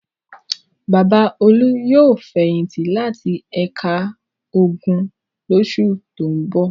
Bàbá Olú yóò fẹ̀yìntì láti ẹ̀ka ogun lóṣù tó ń bọ̀.